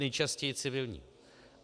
Nejčastěji civilního.